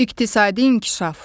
İqtisadi İnkişaf.